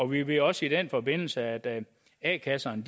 vi ved også i den forbindelse at a kasserne